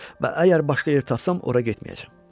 Və əgər başqa yer tapsam, ora getməyəcəm.